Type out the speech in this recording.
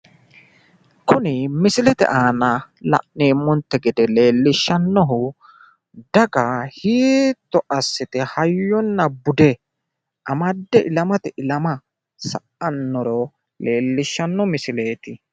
kuni misilete aana la'neemonte gede leellishshannohu, daga hiitto assite hayyonna bude amadde ilamatenni ilama sayiissannoro leellishanno misileeti.